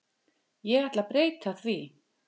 Ég ætla breyta því.